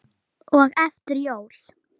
og eftir jól.